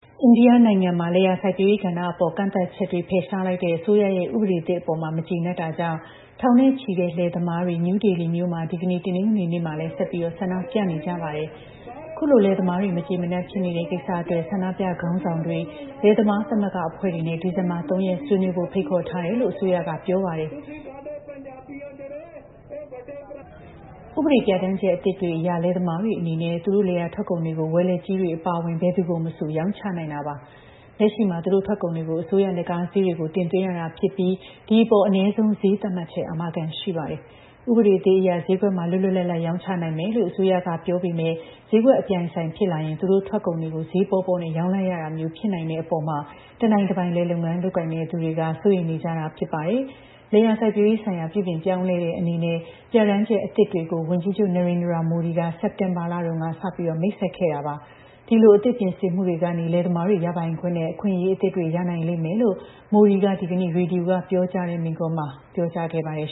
အိန္ဒိယနိုင်ငံမှာ လယ်ယာစိုက်ပျိုးရေးကဏ္ဍအပေါ် ကန့်သတ်ချက်တွေ ဖယ်ရှားလိုက်တဲ့ အစိုးရရဲ့ ဥပဒေသစ်အပေါ် မကျေနပ်တာကြောင့် ထောင်နဲ့ချီတဲ့ လယ်သမားတွေ နယူးဒေလီမြို့မှာ ဒီနေ့ တနင်္ဂနွေနေ့မှာလည်း ဆက်ပြီး ဆန္ဒပြနေကြပါတယ်။ ခုလို လယ်သမားတွေ မကျေမနပ်ဖြစ်နေတဲ့ ကိစ္စအတွက် ဆန္ဒပြခေါင်းဆောင်တွေ လယ်သမားသမဂ္ဂအဖွဲ့တွေနဲ့ ဒီဇင်ဘာ ၃ ရက် ဆွေးနွေးဖို့ ဖိတ်ခေါ်ထားတယ်လို့ အစိုးရက ပြောပါတယ်။ ဥပဒေပြဋ္ဌာန်းချက် အသစ်တွေအရ လယ်သမားတွေအနေနဲ့ သူတို့ လယ်ယာထွက်ကုန်တွေကို ဝယ်လက်ကြီးတွေ အပါအဝင် ဘယ်သူ့ကိုမဆို ရောင်းချနိုင်တာပါ။ လက်ရှိမှာ သူတို့ထွက်ကုန်တွေကို အစိုးရ လက်ကားဈေးတွေကို တင်သွင်းရတာဖြစ်ပြီး ဒီအပေါ် အနည်းဆုံးဈေး သတ်မှတ်ချက်အာမခံ ရှိပါတယ်။ ဥပေဒသစ်အရ ဈေးကွက်မှာ လွတ်လွတ်လပ်လပ် ရောင်းချနိုင်မယ်လို့ အစိုးရက ပြောပေမယ့် ဈေးကွက်အပြိုင်အဆိုင်ဖြစ်လာရင် သူတို့ထွက်ကုန်တွေကို ဈေးပေါပေါနဲ့ ရောင်းလိုက်ရတာမျိုး ဖြစ်နိုင်တဲ့အပေါ် တနိုင်တပိုင် လယ်လုပ်ငန်းလုပ်ကိုင်တဲ့ သူတွေက စိုးရိမ်နေကြတာ ဖြစ်ပါတယ်။ လယ်ယာစိုက်ပျိုးရေးဆိုင်ရာ ပြုပြင်ပြောင်းလဲတဲ့အနေနဲ့ ပြဋ္ဌာန်းချက်အသစ်တွေကို ဝန်ကြီးချုပ် Narendra Modi က စက်တင်ဘာလတုန်းက စပြီး မိတ်ဆက်ခဲ့တာပါ။ ဒီလို အသစ်ပြင်ဆင်မှုတွေကနေ လယ်သမားတွေ ရပိုင်ခွင့်နဲ့ အခွင့်အရေးအသစ်တွေ ရနိုင်လိမ့်မယ်လို့ Modi က ဒီကနေ့ ရေဒီယိုကပြောကြားတဲ့ မိန့်ခွန်းမှာ ပြောကြားခဲ့ပါတယ်